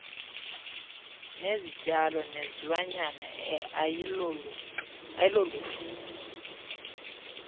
zezityalo nezilwanyana ayiloluhlu